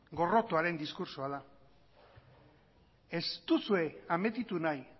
gorrotoaren diskurtsoa da ez duzue ametitu nahi